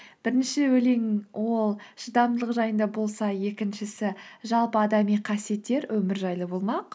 бірінші өлең ол шыдамдылық жайында болса екіншісі жалпы адами қасиеттер өмір жайлы болмақ